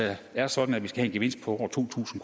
det er sådan at vi skal have en gevinst på over to tusind